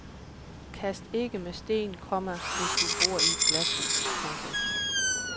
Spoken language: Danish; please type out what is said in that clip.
Kast ikke med sten, komma hvis du bor i et glashus. punktum